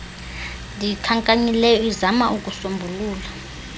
ndiyikhankanyileyo izama ukuusombulula